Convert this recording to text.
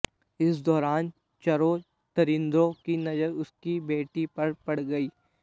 इस दौरान चरों दरिंदो की नजर उसकी बेटी पर पड़ गई